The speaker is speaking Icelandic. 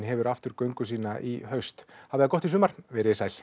hefur aftur göngu sína í haust hafið það gott í sumar veriði sæl